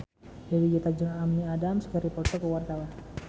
Dewi Gita jeung Amy Adams keur dipoto ku wartawan